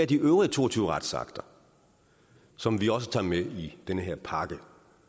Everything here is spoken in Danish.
de øvrige to og tyve retsakter som vi også tager med i den her pakke